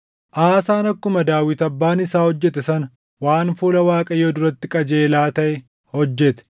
Aasaan akkuma Daawit Abbaan isaa hojjete sana waan fuula Waaqayyoo duratti qajeelaa taʼe hojjete.